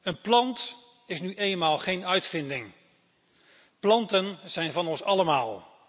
Een plant is nu eenmaal geen uitvinding, planten zijn van ons allemaal.